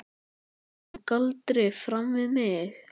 Hún kom galdri fram við mig.